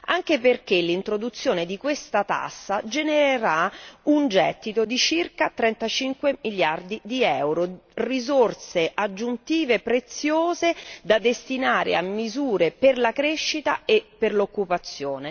Anche perché l'introduzione di questa tassa genererà un gettito di circa 35 miliardi di euro, risorse aggiuntive e preziose da destinare a misure per la crescita e per l'occupazione.